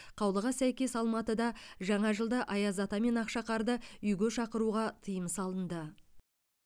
қаулыға сәкес алматыда жаңа жылда аяз ата мен ақшақарды үйге шақыруға тыйым салынды